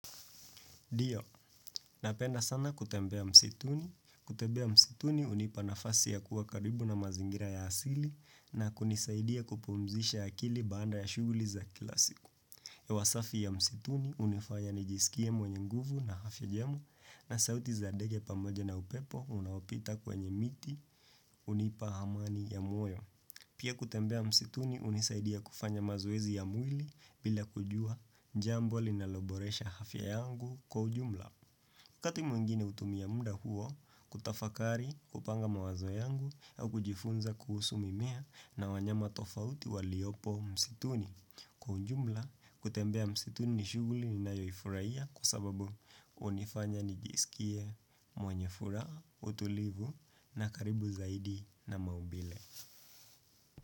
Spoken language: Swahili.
Ndiyo, napenda sana kutembea msituni. Kutembea msituni hunipa nafasi ya kuwa karibu na mazingira ya asili na kunisaidia kupumzisha akili baada ya shuguli za kila siku. Hewa safi ya msituni hunifanya nijisikie mwenye nguvu na afya njema na sauti za ndege pamoja na upepo unaopita kwenye miti hunipa amani ya moyo. Pia kutembea msituni hunisaidia kufanya mazoezi ya mwili bila kujua jambo linaloboresha afya yangu kwa ujumla. Wakati mwengine hutumia muda huo kutafakari, kupanga mawazo yangu au kujifunza kuhusu mimea na wanyama tofauti waliopo msituni. Kwa ujumla, kutembea msituni ni shuguli ninayoifurahia kwa sababu hunifanya nijisikie mwanyefuraha, utulivu na karibu zaidi na maumbile.